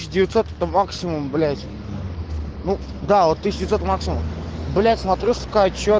тысяча девятьсот это максимум блять ну да вот тысяча девятьсот это максимум блять смотрю сука отчёт